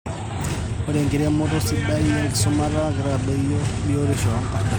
Ore enkiremore sidai esumata keitadoyio batisho oo nkasarani.